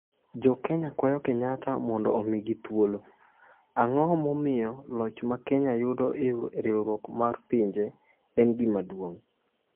Jo Kenya kwayo Kenyatta mondo omigi ‘thuolo’ Ang’o momiyo loch ma Kenya yudo e riwruok mar Pinje Maduong’ en gima duong’?